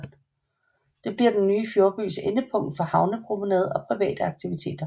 Det bliver den nye Fjordbys endepunkt for havnepromenade og private aktiviteter